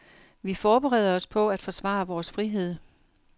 Vi forbereder os på at forsvare vores frihed.